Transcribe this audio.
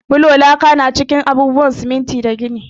Bulo, laka, da kuma siminti na cikin abubuwan gini.